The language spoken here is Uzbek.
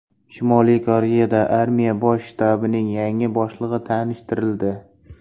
Shimoliy Koreyada armiya bosh shtabining yangi boshlig‘i tanishtirildi.